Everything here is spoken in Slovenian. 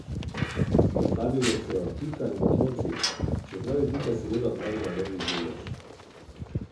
Postavili so jo Pika in otroci, čeprav je Pika seveda opravila levji delež.